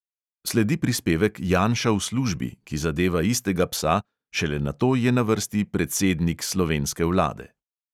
Sledi prispevek janša v službi, ki zadeva istega psa, šele nato je na vrsti predsednik slovenske vlade.